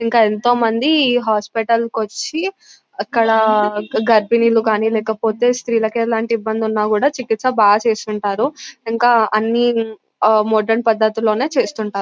ఇంకా ఎంతోమంది హాస్పిటల్ కోచి అక్కడ గర్బిణీలూ కానీ లేకపోతే స్త్రీలకి ఎలాంటి ఇబంధులున్నా కూడా చిక్కిస బా చేస్తుంటారు ఇంకా అని ఆహ్ మోడరన్ పద్ధతిలోనే చేస్తుంటారు .